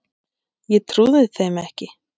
Ég trúði þeim ekki.